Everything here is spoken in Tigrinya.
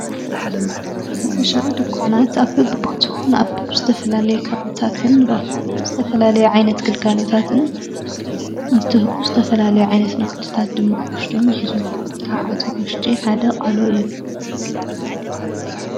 ርተሻዊ ድኳናት ኣብብቦትዉን ኣብብ ዝተፈላለይ ካወንታትን ረፎም ዝተፈላለይ ዓይነት ገልካሎታትን እንትሁ ዝተፈላለይ ዓይነት ናወትታት ድማ ወሽዶም ኂዙ ካብ ኣቶምምሽጢ ሓደቕ ዓሎ እዩ